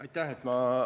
Aitäh!